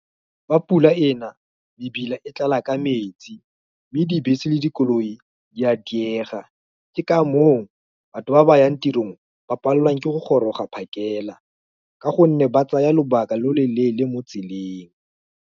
Fa pula ena, mebila e tlala ka metsi, mme dibese le dikoloi di a diega, ke ka moo, batho ba ba yang tirong, ba palelwang ke go goroga phakela, ka gonne ba tsaya lobaka lo lo leele mo tseleng.